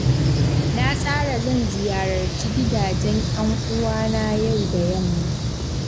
Na tsara zan ziyararci gidajen ƴan uwana yau da yamma.